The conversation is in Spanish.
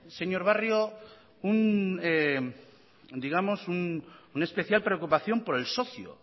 señor barrio una especial preocupación por el socio